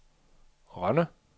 Rønne